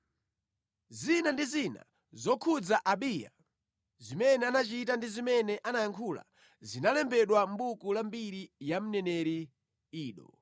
Zina ndi zina zokhudza Abiya, zimene anachita ndi zimene anayankhula, zinalembedwa mʼbuku la mbiri ya mneneri Ido.